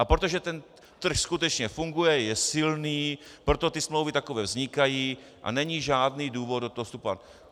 A protože ten trh skutečně funguje, je silný, proto ty smlouvy takové vznikají a není žádný důvod do toho vstupovat.